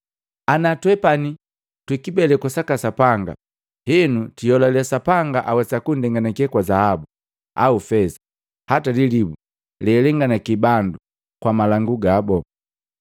Ana twepani twa kibeleku saka Sapanga, henu twiholale Sapanga awesa kunndenganake kwa zahabu, au feza hata lilibu lealenganaki bandu kwa malangu gabu.